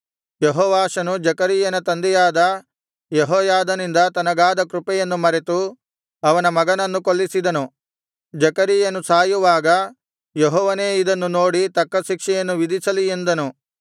ಯೆಹೋವಾಷನು ಜೆಕರೀಯನ ತಂದೆಯಾದ ಯೆಹೋಯಾದನಿಂದ ತನಗಾದ ಕೃಪೆಯನ್ನು ಮರೆತು ಅವನ ಮಗನನ್ನು ಕೊಲ್ಲಿಸಿದನು ಜೆಕರೀಯನು ಸಾಯುವಾಗ ಯೆಹೋವನೇ ಇದನ್ನು ನೋಡಿ ತಕ್ಕ ಶಿಕ್ಷೆಯನ್ನು ವಿಧಿಸಲಿ ಎಂದನು